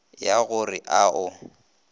ya go re a o